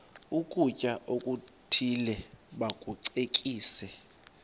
ukutya okuthile bakucekise